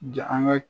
an ka